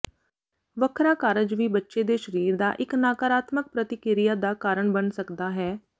ਵੱਖਰਾ ਕਾਰਜ ਵੀ ਬੱਚੇ ਦੇ ਸਰੀਰ ਦਾ ਇੱਕ ਨਕਾਰਾਤਮਕ ਪ੍ਰਤੀਕਿਰਿਆ ਦਾ ਕਾਰਨ ਬਣ ਸਕਦਾ ਹੈ